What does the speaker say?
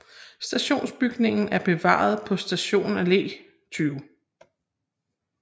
Stationsbygningen er bevaret på Stadion Alle 20